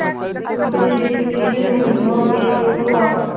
दूसरे दिन फिर मुकदमा पेश हुआ